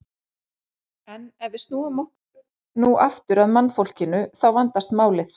En ef við snúum okkur nú aftur að mannfólkinu þá vandast málið.